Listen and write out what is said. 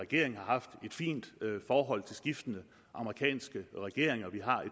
regering har haft et fint forhold til skiftende amerikanske regeringer vi har